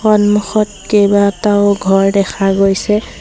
সন্মুখত কেইবাটাও ঘৰ দেখা গৈছে।